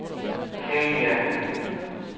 Chania